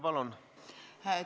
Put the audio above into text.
Palun!